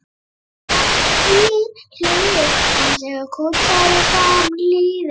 Afturhlið hans er kúptari en framhliðin.